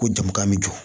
Ko jama ka jɔ